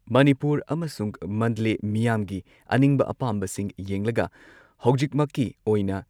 ꯃꯅꯤꯄꯨꯔ ꯑꯃꯁꯨꯡ ꯃꯟꯗꯂꯦ ꯃꯤꯌꯥꯝꯒꯤ ꯑꯅꯤꯡꯕ ꯑꯄꯥꯝꯕꯁꯤꯡ ꯌꯦꯡꯂꯒ ꯍꯧꯖꯤꯛꯃꯛꯀꯤ ꯑꯣꯏꯅ